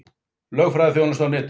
Lögfræðiþjónusta á netinu